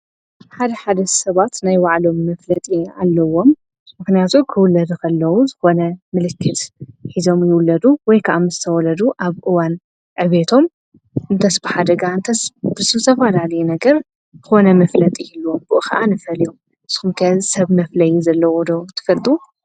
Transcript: ሓደ ሓደ ሰባት ናይ ዋዕሎም መፍለጢ ኣለዎም ምኽንያቱ ክውለድ ኸለዉ ዝኾነ ምልክት ኂዞም ይውለዱ ወይ ከዓ ምዝተወለዱ ኣብ እዋን ኣቤቶም እንተስብሓ ደጋ እንተ ብሢሰፍላልየ ነገር ኾነ መፍለጥ ህሉ ኣቦእ ኸዓ ንፈል እዮም ሶምከ ሰብ መፍለይ ዘለዎዶ ትፈልጡ?